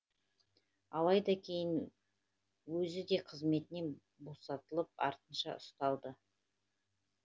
алайда кейін өзі де қызметінен босаталып артынша ұсталды